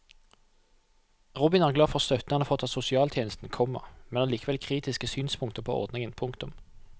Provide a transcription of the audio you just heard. Robin er glad for støtten han har fått av sosialtjenesten, komma men har likevel kritiske synspunkter på ordningen. punktum